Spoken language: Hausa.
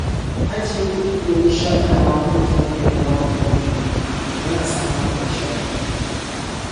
Ajiye kuɗi domin shaƙatawa ko tafiya yawon buɗe ido yana samar da nishaɗi.